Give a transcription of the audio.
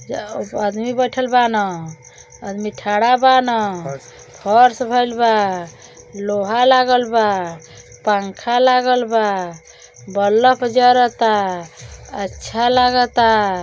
जा ऊ आदमी बईथल बान आदमी ठाणा बान फर्श भइल बा लोहा लागल बा पंखा लागल बा बलफ जरता अच्छा लागता।